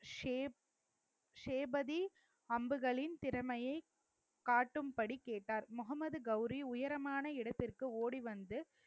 shape ஷேபதி அம்புகளின் திறமைய காட்டும்படி கேட்டார் முகமது கௌரி உயரமான இடத்திற்கு ஓடி வந்து